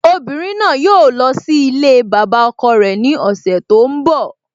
Obìnrin náà yóò lọ sí ilée bàbá ọkọ rẹ ní ọ̀sẹ̀ tó ń bọ́